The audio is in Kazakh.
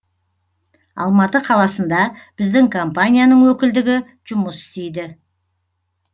алматы қаласында біздің компанияның өкілдігі жұмыс істейді